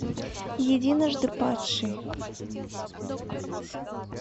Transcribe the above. единожды падший